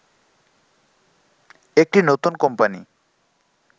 একটি নতুন কোম্পানি